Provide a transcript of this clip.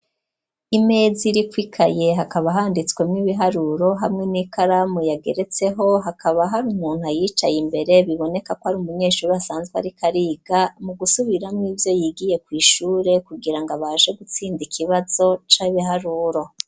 Imeza iriko ikaye hakaba handitswemwo ibiharuro hamwe n'ikaramu yageretseho hakaba hari umuntu ayicaye imbere bibonekako ari umunyeshuri asanzwe ariko ariga mu gusubiramwo ivyo yigiye kw'ishure kugira ngo abashe gutsinda ikibazo c'ibiharuro